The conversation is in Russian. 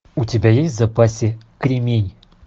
у тебя есть в запасе кремень